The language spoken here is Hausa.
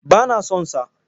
Ba na son sa.